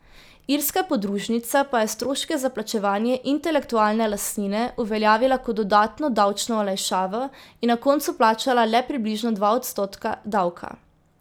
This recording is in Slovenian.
Irska podružnica pa je stroške za plačevanje intelektualne lastnine uveljavila kot dodatno davčno olajšavo in na koncu plačala le približno dva odstotka davka.